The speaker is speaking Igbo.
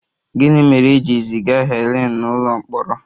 Gịnị mere e ji ziga Helen n'ụlọ mkpọrọ?